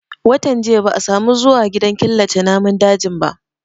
Watan jiya ba a samu zuwa gidan killace namun dajin ba